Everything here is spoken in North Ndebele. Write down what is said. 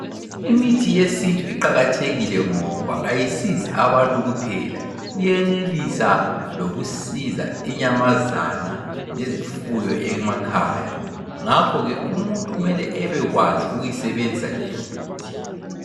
imithi yesintu iqakathekile ngoba ayisizi abantu kuphela iyenelisa lokusiza inyamazana lezifuyo emakhaya ngakho ke umuntu kumele ebekwazi ukuyisebenzisa leyo mithi